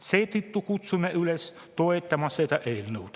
Seetõttu kutsume üles toetama seda eelnõu.